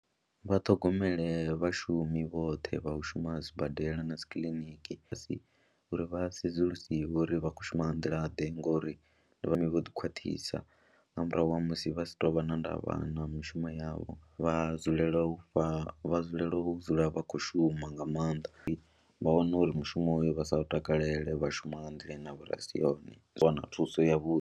Vha ṱhogomele vhashumi vhoṱhe vha u shuma sibadela na dzi kiliniki a si uri vha sedzulusiwe uri vha khou shuma nga nḓilaḓe ngori ndi vhane vho ḓikhwaṱhisa nga murahu ha musi vha si tou vha na ndavha na mishumo yavho, vha dzulele u fha vha dzulele u dzula vha khou shuma nga maanḓa vha wane uri mushumo uyo vha sa u takalele vha shuma nga nḓila ine ya vho ri a si yone u wana thuso yavhuḓi.